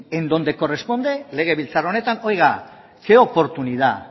en donde corresponde legebiltzar honetan oiga qué oportunidad